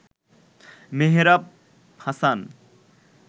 Mehrab Hasan